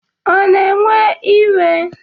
Ọ na-ewe iwe?